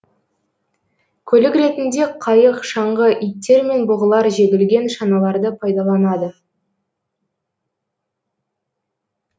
көлік ретінде қайық шаңғы иттер мен бұғылар жегілген шаналарды пайдаланады